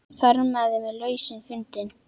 Þarmeð var lausnin fundin.